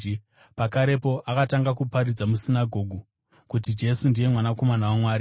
Pakarepo akatanga kuparidza musinagoge kuti Jesu ndiye Mwanakomana waMwari.